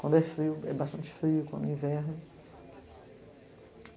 Quando é frio, é bastante frio, quando é inverno.